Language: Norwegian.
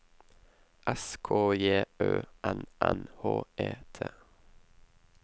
S K J Ø N N H E T